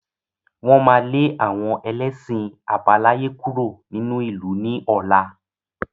Wọn má lè àwọn ẹlẹ́ṣin àbáláyé kúrò nínú ìlú ni ọ̀la.